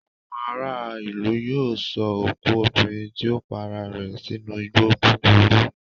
Àwọn ará-ìlú yóò sọ òkú obìnrin tí ó para rẹ̀ sínú igbó búburú.